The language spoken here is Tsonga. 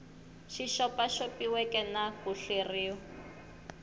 xi xopaxopiweke na ku hleriw